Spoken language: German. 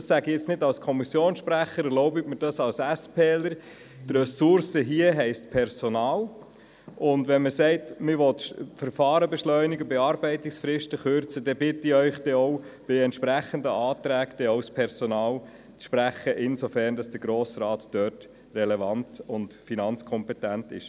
Das sage ich jetzt nicht als Kommissionssprecher, sondern als Mitglied der SP-JUSO-PSA-Fraktion: Ressourcen bedeuten Personal, und wenn Sie hier die Beschleunigung von Verfahren und die Kürzung von Bearbeitungsfristen verlangen, bitte ich Sie, bei entsprechenden Anträgen auch das dafür erforderliche Personal gutzuheissen, soweit der Grosse Rat dort relevant und finanzkompetent ist.